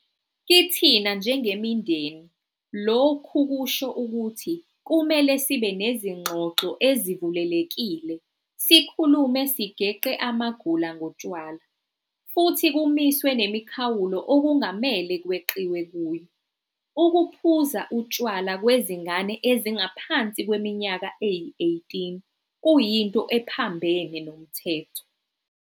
Kithina njengemindeni lokhu kusho ukuthi kumele sibe nezingxoxo ezivulelekile sikhulume sigeqe amagula ngotshwala futhi kumiswe nemikhawulo okungamele kweqiwe kuyo. Ukuphuza utshwala kwezingane ezingaphansi kweminyaka eyi-18 kuyinto ephambene nomthetho.